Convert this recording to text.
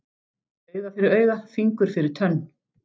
Auga fyrir auga, fingur fyrir tönn.